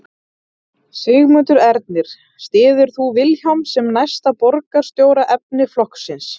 Sigmundur Ernir: Styður þú Vilhjálm sem næsta borgarstjóraefni flokksins?